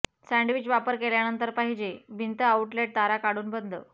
sandwich वापर केल्यानंतर पाहिजे भिंत आउटलेट तारा काढून बंद